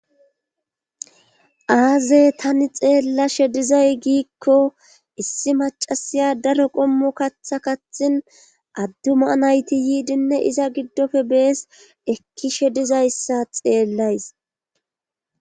aaze tani xeellashe dizay giikko issi macasiya daro qommu katha kathin adduma nayti yiidinne iza giddofe bees ekkishe dizayssa xeellays